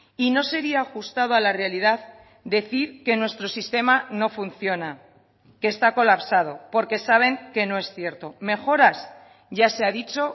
y no sería ajustado a la realidad decir que nuestro sistema no funciona que está colapsado porque saben que no es cierto mejoras ya se ha dicho